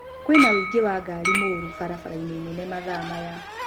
kwi na ũingĩ wa ngari mũru barabara-inĩ nene mathaa maya